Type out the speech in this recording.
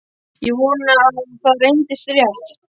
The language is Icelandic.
Ég vonaði að það reyndist rétt.